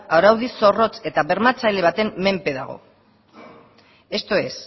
araudi zorrotz eta bermatzaile baten menpe dago esto es se